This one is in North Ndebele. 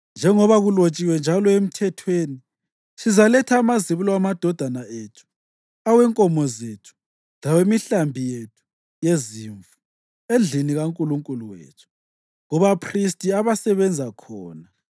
Njengoba kulotshiwe njalo eMthethweni, sizaletha amazibulo amadodana ethu, awenkomo zethu, lawemihlambi yethu yezimvu endlini kaNkulunkulu wethu, kubaphristi abasebenza khona.